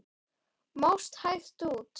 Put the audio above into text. Mást hægt út.